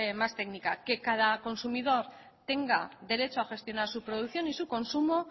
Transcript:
más técnica que cada consumidor tenga derecho a gestionar su producción y su consumo